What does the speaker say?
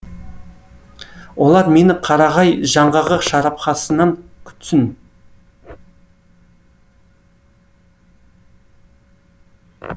олар мені қарағай жаңғағы шарапханасынан күтсін